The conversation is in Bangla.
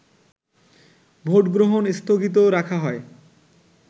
ভোটগ্রহণ স্থগিত রাখা হয়